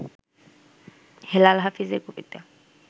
হেলাল হাফিজের কবিতা